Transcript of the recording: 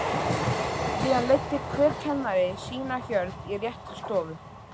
Síðan leiddi hver kennari sína hjörð í rétta stofu.